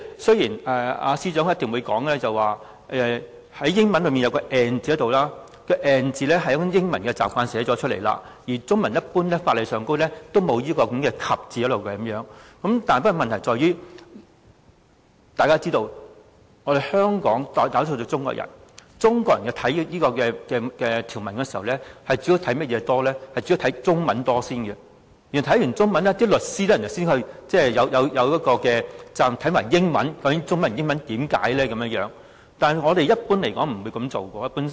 雖然司長一定會表示，條文的英文版本有 "and" 字，根據英文慣用的寫法，條文會加入 "and" 字，而中文版本的法例一般沒有"及"字，但問題在於，大家也知道，香港大多數居民是中國人，中國人讀這項條文時，主要先看中文，看完中文，律師才有責任再看英文，了解中文和英文當中的解釋，但一般市民不會這樣做。